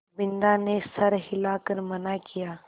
बिन्दा ने सर हिला कर मना किया